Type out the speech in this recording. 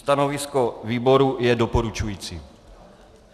Stanovisko výboru je doporučující.